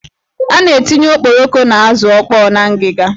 A na-etinye okporoko na azụ ọkpọ n'ngiga.